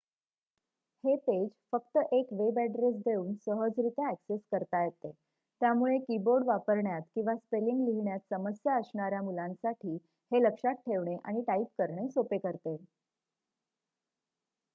हे पेज फक्त एक वेबॲड्रेस देऊन सहजरीत्या ॲक्सेस करता येते त्यामुळे कीबोर्ड वापरण्यात किंवा स्पेलिंग लिहिण्यात समस्या असणाऱ्या मुलांसाठी हे लक्षात ठेवणे आणि टाईप करणे सोपे करते